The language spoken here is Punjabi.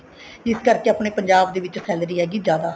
ਇਸ ਕਰਕੇ ਆਪਣੇ ਪੰਜਾਬ ਦੇ ਵਿੱਚ salary ਹੈਗੀ ਜਿਆਦਾ